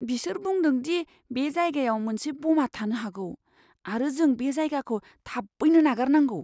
बिसोर बुंदों दि बे जायगायाव मोनसे ब'मा थानो हागौ आरो जों बे जायगाखौ थाबैनो नागारनांगौ!